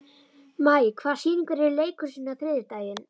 Maj, hvaða sýningar eru í leikhúsinu á þriðjudaginn?